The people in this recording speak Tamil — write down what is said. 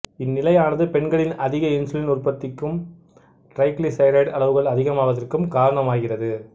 இந்நிலையானது பெண்களின் அதிக இன்சுலின் உற்பத்திக்கும் டிரைகிளிசரைடு அளவுகள் அதிகமாவதற்கும் காரணமாகிறது